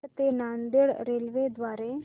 दौंड ते नांदेड रेल्वे द्वारे